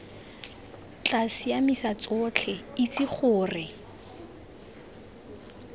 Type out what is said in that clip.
tla siamisa tsotlhe itse gore